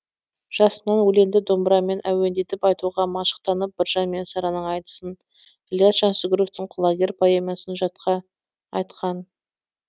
жасынан өлеңді домбырамен әуендетіп айтуға машықтанып біржан мен сараның айтысын ілияс жансүгіровтің құлагер поэмасын жатқа айтқан